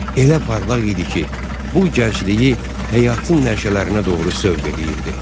Elə parlaq idi ki, bu gəncliyi həyatın nəşələrinə doğru sövq eləyirdi.